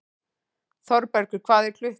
Þorbergur, hvað er klukkan?